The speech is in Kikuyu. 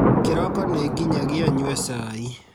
Kĩroko nĩ nginyagia nyue cai